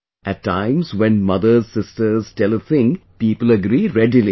At times when mothers sisters tell a thing people agree readily